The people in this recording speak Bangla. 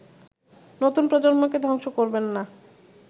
নতুন প্রজন্মকেধ্বংস করবেন না